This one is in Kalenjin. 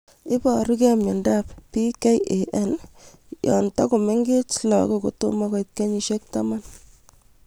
Iparukei miondop PKAN ye tokomengech lagok kotomo koit kenyishek taman